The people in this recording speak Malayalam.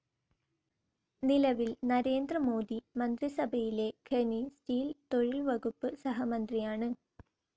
നിലവിൽ നരേന്ദ്ര മോദി മന്ത്രിസഭയിലെ ഖനി, സ്റ്റീൽ, തൊഴിൽ വകുപ്പ് സഹമന്ത്രിയാണ്.